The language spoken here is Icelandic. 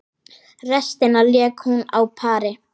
Restina lék hún á pari.